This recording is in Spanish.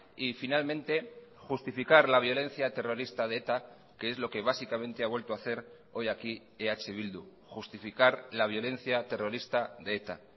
y finalmente justificar la violencia terrorista de eta que es lo que básicamente ha vuelto a hacer hoy aquí eh bildu justificar la violencia terrorista de eta